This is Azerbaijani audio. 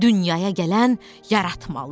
Dünyaya gələn yaratmalı.